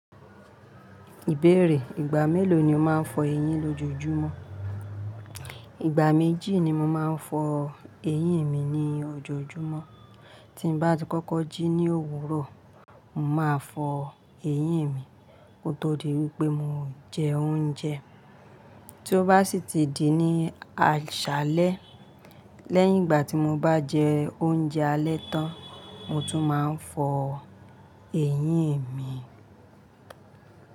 Ìbéèrè, ìgbà mélòó ni o máa ń fọ eyín lójojúmọ́? Ìgbà méjì ni mo máa ń fọ eyín mi ní ojojúmọ́. Tí mo bá ti kọ́kọ́ jí ní òwúrọ̀, mo máa fọ eyín mi ó tó di wípé mo jẹ oúnjẹ. Tí ó bá sì ti di ní àṣálẹ́, lẹ́yìn ìgbà tí mo bá jẹ oúnjẹ alẹ́ tán, mo tún máa ń fọ eyín mi.